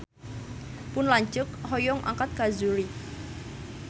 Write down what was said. Pun lanceuk hoyong angkat ka Zurich